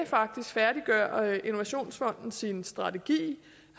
faktisk færdiggør innovationsfonden sin strategi